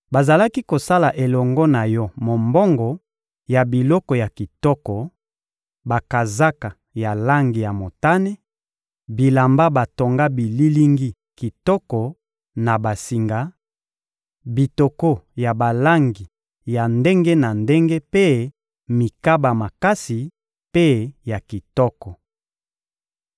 bazalaki kosala elongo na yo mombongo ya biloko ya kitoko: bakazaka ya langi ya motane, bilamba batonga bililingi kitoko na basinga, bitoko ya balangi ya ndenge na ndenge mpe mikaba makasi mpe ya kitoko.